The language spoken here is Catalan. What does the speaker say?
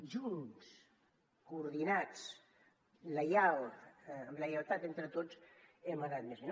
junts coordinats lleials amb la lleialtat entre tots hem anat més bé